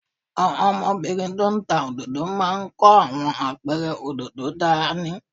Àwọn ọmọbìnrin tó ń ta òdòdó máa ń kó àwọn apẹ̀rẹ̀ òdòdó dání